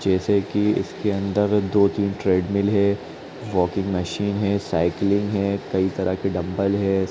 जैसे कि इसके अंदर दो-तीन ट्रेड मिल है वाकिंग मशीन है साइकलिंग है कई तरह के डंबल है।